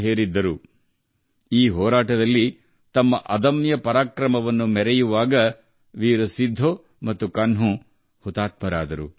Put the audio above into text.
ವೀರ್ ಸಿಧು ಮತ್ತು ಕನ್ಹು ಈ ಹೋರಾಟದಲ್ಲಿ ಅದ್ಭುತ ಶೌರ್ಯ ಪ್ರದರ್ಶಿಸಿ ಹುತಾತ್ಮರಾದರು